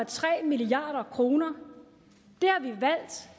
tre milliard kroner